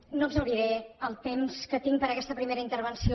no exhauriré el temps que tinc per a aquesta primera intervenció